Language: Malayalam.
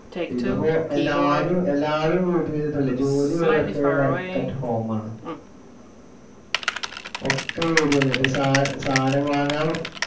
ഇതിപ്പോ എല്ലാരും~ എല്ലാരും വീട്ടിലിരുന്നിട്ടല്ലേ ജോലി വരെ ഇപ്പൊ work at home ആണ്. ഒക്കെ വീട് കഴിഞ്ഞിട്ട്, സാധനം വാങ്ങാൻ